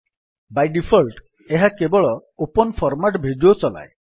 Bai default ଏହା କେବଳ open format video ଚଲାଏ